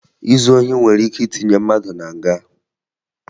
Izu ohi nwere ike itinye mmadụ na nga